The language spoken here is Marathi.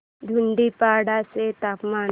धुडीपाडा चे तापमान